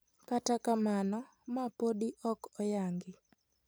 Kata kamano, ma podi ok oyangi.